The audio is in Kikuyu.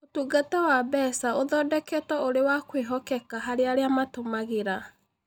Ũtungata wa mbeca ũthondeketwo ũrĩ wa kwĩhokeka harĩ arĩa matũmagĩra.